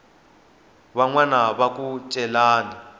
van wana va ku celani